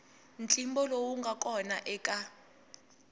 ntlimbo lowu nga kona eka